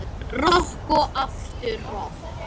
Rokk og aftur rokk.